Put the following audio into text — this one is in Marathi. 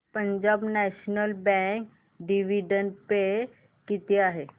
Punjab National Bank dividend pay किती आहे